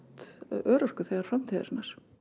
örorkuþegar framtíðarinnar